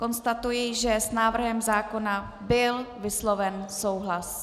Konstatuji, že s návrhem zákona byl vysloven souhlas.